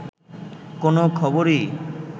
কোন খবরই